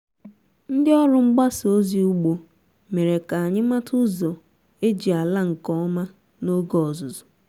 ndị ọrụ mgbasa ozi ugbo mere ka anyị mata ụzọ eji ala nke ọma n’oge ọzụzụ